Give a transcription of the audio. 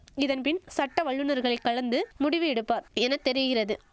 இதன்பின் சட்ட வல்லுனர்களை கலந்து முடிவு எடுப்பார் என தெரிகிறது